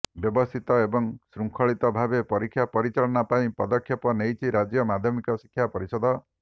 ବ୍ୟବସ୍ଥିତ ଏବଂ ଶୃଙ୍ଖଳିତ ଭାବେ ପରୀକ୍ଷା ପରିଚାଳନା ପାଇଁ ପଦକ୍ଷେପ ନେଇଛି ରାଜ୍ୟ ମାଧ୍ୟମିକ ଶିକ୍ଷା ପରିଷଦ